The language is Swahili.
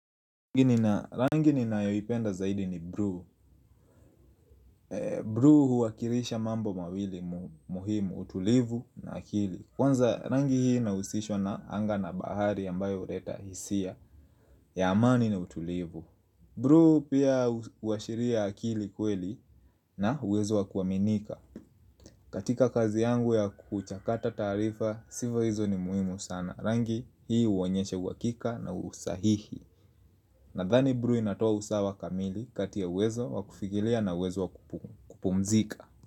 Rangi ninayoipenda zaidi ni blue blue huwakilisha mambo mawili muhimu utulivu na akili Kwanza rangi hii inahusishwa na anga na bahari ambayo huleta hisia ya amani na utulivu blue pia huwashiria akili kweli na uwezo wa kuaminika katika kazi yangu ya kuchakata taarifa sifa hizo ni muhimu sana Rangi hii huonyesha uhakika na usahihi Nadhani blue inatoa usawa kamili kati ya uwezo wakufikilia na uwezo wa kupumzika.